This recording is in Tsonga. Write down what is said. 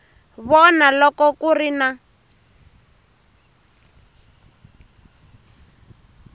vona loko ku ri na